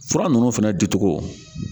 Fura ninnu fana di cogo